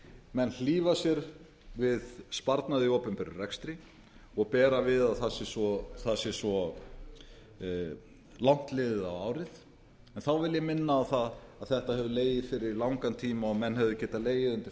menn hlífa sér við sparnaði í opinberum rekstri og bera við að það sé svo langt liðið á árið en þá vil ég minna á það að þetta hefur legið fyrir í langan tíma og menn hefðu getað legið undir